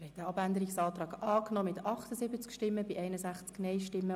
Sie haben den Abänderungsantrag Wüthrich angenommen.